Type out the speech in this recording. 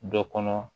Dɔ kɔnɔ